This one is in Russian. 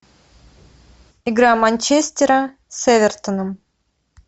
игра манчестера с эвертоном